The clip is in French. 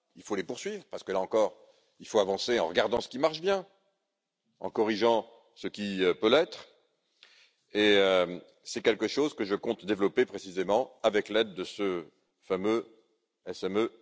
il faut les poursuivre là encore, il faut avancer en regardant ce qui marche bien, en corrigeant ce qui peut l'être, et c'est quelque chose que je compte développer précisément avec l'aide de ce fameux représentant des PME.